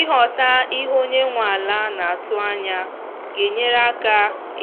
ịghọta ihe onye nwe ala naatụ anya ga enyere aka